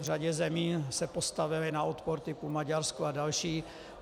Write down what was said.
V řadě zemí se postavili na odpor - typu Maďarsko a další.